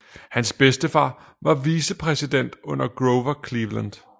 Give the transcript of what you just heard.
Hans bedstefar var vicepræsident under Grover Cleveland